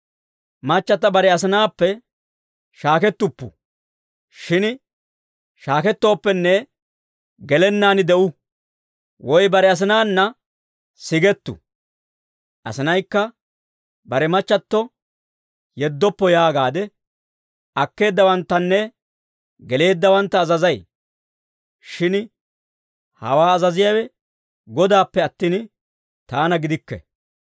Machchata bare asinaappe shaakettuppu. Shin shaakettooppenne gelennaan de'uu; woy bare asinaana sigettu. Asinaykka bare machchatto yeddoppo yaagaade, akkeeddawanttanne geleeddawantta azazay. Shin hawaa azaziyaawe Godaappe attin, taana gidikke.